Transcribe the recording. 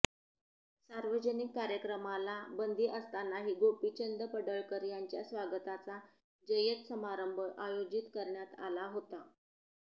सार्वजनिक कार्यक्रमाला बंदी असतानाही गोपीचंद पडळकर यांच्या स्वागताचा जय्यत समारंभ आयोजित करण्यात आला होता